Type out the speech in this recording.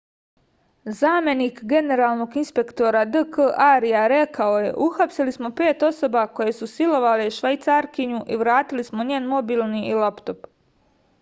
zamenik generalnog inspektora d k arja rekao je uhapsili smo pet osoba koje su silovale švajcarkinju i vratili smo njen mobilni i laptop